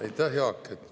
Aitäh, Jaak!